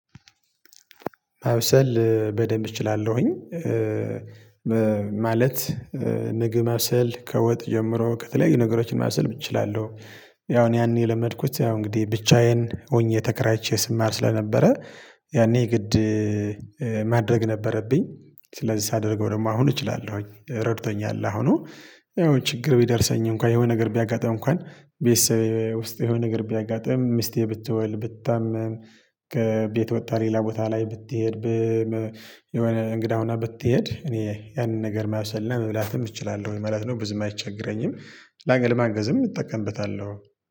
ማብሰል በደንብ እችላለሁኝ ም ማለት ምግብ ማብሰል ከወጥ ጀምሮ ከተለያዩ ነገሮችን ማብሰል እችላለሁ ያው እኔ ያኔ የለመድኩት ያው እንግዲህ ብቻዬን ሆኜ ተከራይቼ ስማር ስለነበረ ያኔ ግድ ማድረግ ነበረብኝ። ስለዚህ ሳደርገው ደግሞ አሁን እችላለሁኝ። ረድቶኛል ላሁኑ ይኸው ችግር ቢደርሰኝ እንኳን የሆነ ነገር ቢያጋጥም እንኳን ቤትሰ ውስጥ የሆነ ነገር ቢያጋጥም ሚስቴ ብትወልድ ብታመም ከቤት ወጥታ ሌላ ቦታ ላይ ብትሄድ የሆነ እንግዳ ሆና ብትሄድ እኔ ያንን ነገር ማብሰል መብላትም እችላለሁኝ ማለት ነው። ብዙም አይቸግረኝም ላገል ማገዝም እጠቀምበታለሁ።